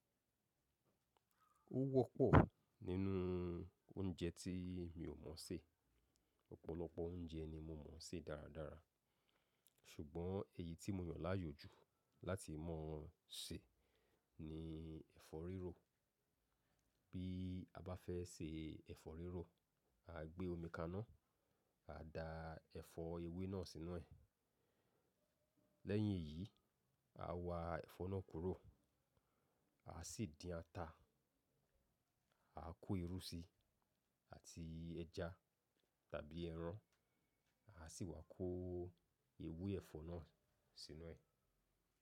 Ó wọ́pọ̀ nínú oúnjẹ tí mi ò mọ̀ sè. Ọ̀pọ̀lọpọ̀ oúnjẹ ni mo mọ̀ sè dáradára ṣùgbọ́n èyí tí mo yàn láàyò jù láti mọ̀ ṣe ni ẹ̀fọ́ rírò. Bí a bá fẹ́ ṣe ẹ̀fọ́ rírò, à gbé omi kaná, à da ẹfọ ewé náà sínú ẹ̀. Lẹ́yìn èyí, à wá ẹfọ náà kúrò, à sì dín ata, à kó irú síi àti ẹja tàbí ẹran, à sì wá kó ewé ẹ̀fọ́ náà sínú ẹ̀